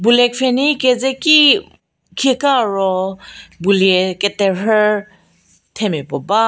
boulie pfhenyi keze ki khekaa ro boulie keterhü themia puo ba--